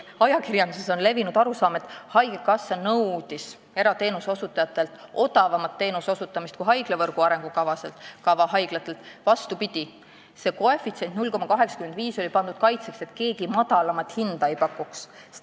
Ajakirjanduses levis arusaam, et haigekassa nõudis erateenuse osutajatelt odavamat teenuse osutamist kui haiglavõrgu arengukava haiglatelt, aga tegelikult oli asi vastupidi: see koefitsient 0,85 oli pandud kaitseks, et keegi madalamat hinda ei pakuks.